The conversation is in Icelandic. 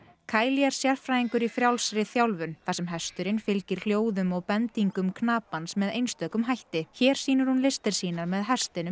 caeli er sérfræðingur í frjálsri þjálfun þar sem hesturinn fylgir hljóðum og bendingum knapans með einstökum hætti hér sýnir hún listir sínar með hestinum